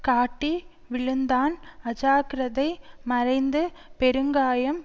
காட்டி விழுந்தான் அஜாக்கிரதை மறைந்து பெருங்காயம்